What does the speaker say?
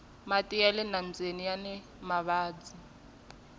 mati yale nambyeni yani mavabyi